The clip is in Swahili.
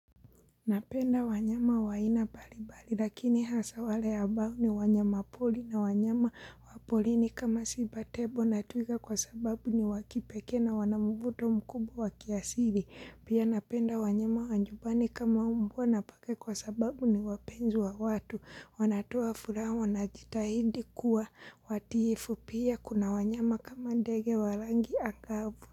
Napenda wanyama wa aina mbalimbali lakini hasa wale ambao ni wanyamapoli na wanyama wa polini kama siba tebo na twiga kwa sababu ni wakipekee na wanamvuto mkubwa wa kiasili. Pia napenda wanyama wa nyumbani kama umbwa na paka kwa sababu ni wapenzi wa watu. Wanatoa furaha wanajitahidi kuwa watiifu pia kuna wanyama kama ndege wa rangi angavu.